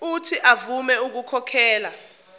uuthi avume ukukhokhela